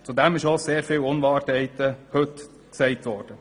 Zudem sind heute viele Unwahrheiten gesagt worden.